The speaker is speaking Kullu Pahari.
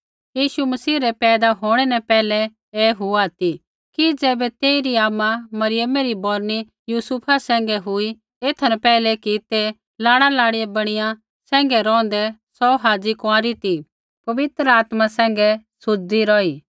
यीशु मसीह रै पैदा होंणै न पैहलै ऐ हुआ ती कि ज़ैबै तेइरी आमा मरियमै री बौरनी यूसुफा सैंघै हुई एथा न पैहलै कि ते लाड़ा लाड़ी बणिया सैंघै रौंहदै सौ हाज़ी कुँआरी ती पवित्र आत्मा सैंघै सुज़दी रौही